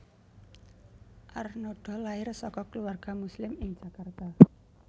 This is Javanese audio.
Arnada lair saka keluarga Muslim ing Jakarta